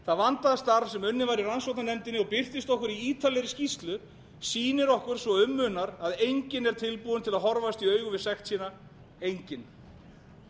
það vandaða starf sem unnið var í rannsóknarnefndinni og birtist okkur í ítarlegri skýrslu sýnir okkur svo um munar að enginn er tilbúinn til að horfast í augu við sekt sína enginn